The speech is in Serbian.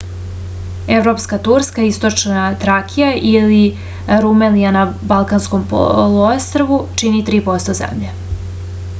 европска турска источна тракија или румелија на балканском полуострву чини 3% земље